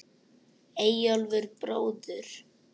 Eyjólf bróður.